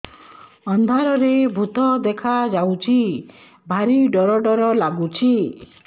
ଅନ୍ଧାରରେ ଭୂତ ଦେଖା ଯାଉଛି ଭାରି ଡର ଡର ଲଗୁଛି